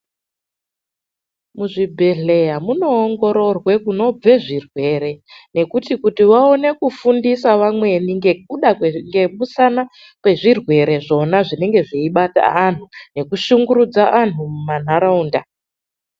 Muzvibhehleya munoongororwe kunobve zvirwere, nekuti kuti vaone kufundisa vamweni ngekuda kwezvirwere zvona zvinenge zvichibata antu, nekushungurudza antu mumanharaunda.